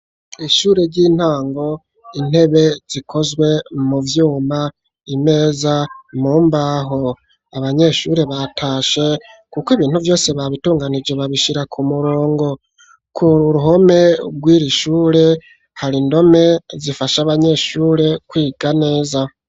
Kw'ishure ry'intango, intebe zikozwe mu vyuma, imeza mu mbaho. Abanyeshure batashe kuko ibintu vyose babitunganije babishira ku murongo. Ku ruhome rw'iri shure, hari indome zifasha abanyeshure kwiga neza.